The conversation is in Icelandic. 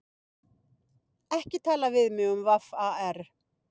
Ekki tala við mig um VAR.